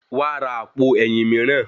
Wàá ra àpò ẹ̀yìn mìíràn.